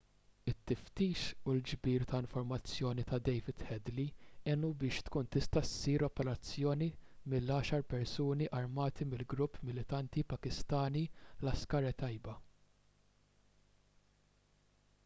it-tiftix u l-ġbir ta' informazzjoni ta' david headley għenu biex tkun tista' ssir l-operazzjoni mill-10 persuni armati mill-grupp militanti pakistani laskhar-e-taiba